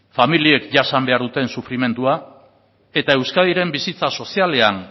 familiek jasan behar duten sufrimendua eta euskadiren bizitza sozialean